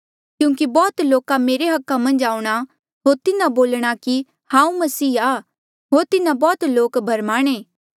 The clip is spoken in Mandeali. क्यूंकि बौह्त लोका मेरे अधिकारा मन्झ आऊंणा होर तिन्हा बोलणा कि हांऊँ मसीह आ होर तिन्हा बौह्त लोक भरमाणे